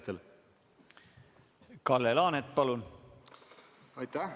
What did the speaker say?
Kalle Laanet, palun!